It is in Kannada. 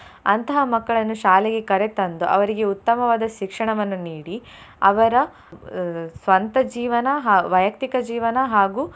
ಅಂತಹ ಮಕ್ಕಳನ್ನು ಶಾಲೆಗೆ ಕರೆ ತಂದು ಅವರಿಗೆ ಉತ್ತಮವಾದ ಶಿಕ್ಷಣವನ್ನು ನೀಡಿ ಅವರ ಅಹ್ ಸ್ವಂತ ಜೀವನ ಹಾ~ ವೈಯುಕ್ತಿಕ ಜೀವನ ಹಾಗೂ.